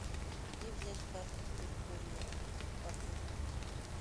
где взять карту территории отеля